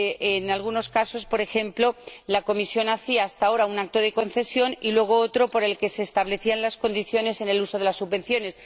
En algunos casos, por ejemplo, la Comisión hacía hasta ahora un acto de concesión y luego otro por el que se establecían las condiciones de uso de las subvenciones.